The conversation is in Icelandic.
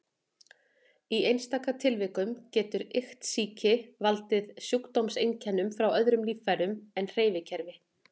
Í einstaka tilvikum getur iktsýki valdið sjúkdómseinkennum frá öðrum líffærum en hreyfikerfi.